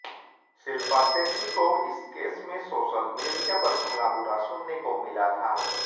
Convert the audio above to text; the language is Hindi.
शिल्पा शेट्टी को इस केस में सोशल मीडिया पर भला बुरा सुनने को मिला था